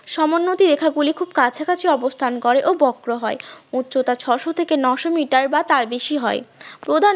সমোন্নতি রেখা গুলি খুব কাছাকাছি অবস্থান করে ও বক্র হয় উচ্চতা ছয়শ থেকে নয়শ মিটার বা তার বেশি হয় প্রধান